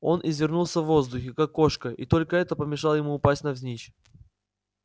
он извернулся в воздухе как кошка и только это помешало ему упасть навзничь